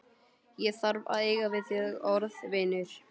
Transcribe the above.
Ég þarf að eiga við þig orð, vinur.